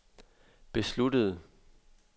besluttede